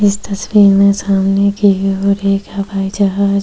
इस तस्वीर में सामने की ओर एक हवाई जहाज --